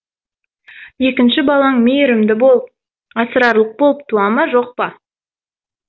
екінші балаң мейірімді болып асырарлық болып туа ма жоқ па